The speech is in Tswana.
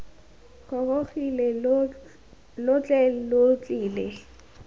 gorogile lo tle lo tlile